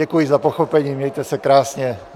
Děkuji za pochopení, mějte se krásně.